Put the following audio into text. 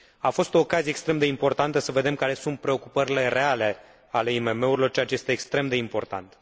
A fost o ocazie extrem de importantă să vedem care sunt preocupările reale ale IMM urilor, ceea ce este extrem de important.